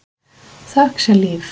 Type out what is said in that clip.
Þökk sé Líf.